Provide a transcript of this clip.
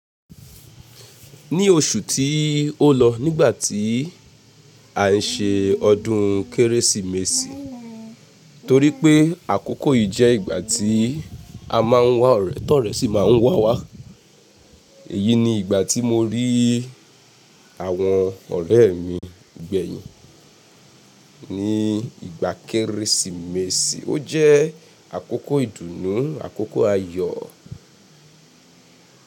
Ní oṣù tí ó lọ nígbà tí à n ṣe ọdún Kérésìmesì torí pé àkókò yìí jẹ́ ìgbà tí a máa ń wá ọ̀rẹ́, tọ̀rẹ́ sì máa ń wá wá. Èyí ni ìgbà tí mo rí àwọn ọ̀rẹ́ mi gbẹ̀yìn. Ní ìgbà Kérésìmesì ó jẹ́ àkókò ìdùnnú, àkókò ayọ̀.